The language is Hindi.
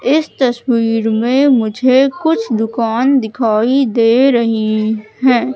इस तस्वीर में मुझे कुछ दुकान दिखाई दे रही हैं।